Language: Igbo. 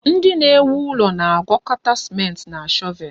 Ndị na-ewu ụlọ na-agwakọta ciment na shọvel